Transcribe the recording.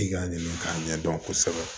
I k'a ɲini k'a ɲɛdɔn kosɛbɛ